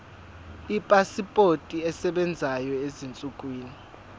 ipasipoti esebenzayo ezinsukwini